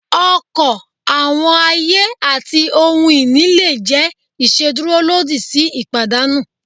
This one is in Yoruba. ọkọ, awọn aye, ati ohun ini le jẹ iṣeduro lodi si ipadanu.